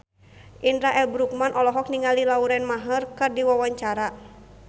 Indra L. Bruggman olohok ningali Lauren Maher keur diwawancara